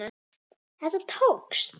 Þetta tókst.